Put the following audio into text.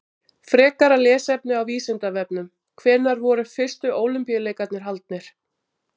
Frekara lesefni á Vísindavefnum: Hvenær voru fyrstu Ólympíuleikarnir haldnir?